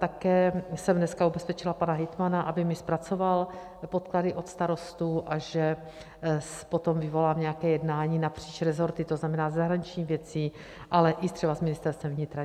Také jsem dneska ubezpečila pana hejtmana, aby mi zpracoval podklady od starostů, a že potom vyvolám nějaké jednání napříč resorty, to znamená zahraničních věcí, ale i třeba s Ministerstvem vnitra.